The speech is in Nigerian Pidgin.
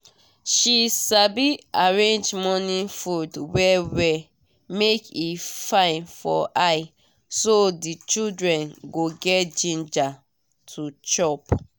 she sabi arrange morning food well well make e fine for eye so the children go get ginger to chop.